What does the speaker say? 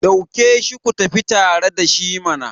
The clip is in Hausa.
dauke shi ku tafi tare da shi mana!